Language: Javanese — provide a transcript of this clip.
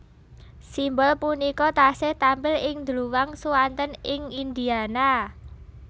Simbol punika tasih tampil ing dluwang suanten ing Indiana